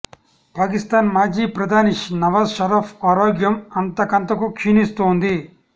పాకిస్తాన్ మాజీ ప్రధాని నవాజ్ షరీఫ్ ఆరోగ్యం అంతకంతకు క్షీణిస్తోంది